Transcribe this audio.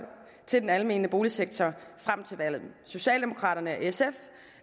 til den almene boligsektor frem til valget socialdemokraterne og sf